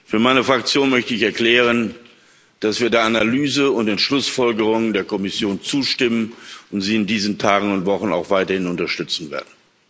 Für meine Fraktion möchte ich erklären, dass wir der Analyse und den Schlussfolgerungen der Kommission zustimmen und sie in diesen Tagen und Wochen auch weiterhin unterstützen werden.